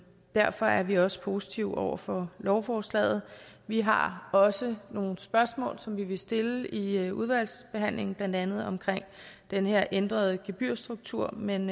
derfor er vi også positive over for lovforslaget vi har også nogle spørgsmål som vi vil stille i udvalgsbehandlingen blandt andet om den her ændrede gebyrstruktur men